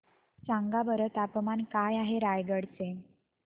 सांगा बरं तापमान काय आहे रायगडा चे